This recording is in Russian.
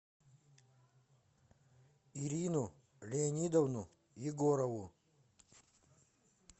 ирину леонидовну егорову